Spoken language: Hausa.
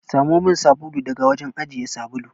Samo min sabulu daga wajen ajiye sabulu.